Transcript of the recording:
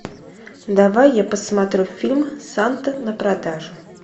давай я посмотрю фильм санта на продажу